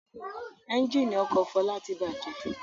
Ẹ́ńjínì ọkọ̀ Fọlá ti bàjẹ́.